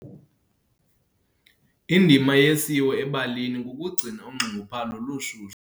Indima yesiwo ebalini kukugcina unxunguphalo lushushu.